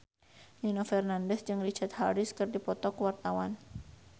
Nino Fernandez jeung Richard Harris keur dipoto ku wartawan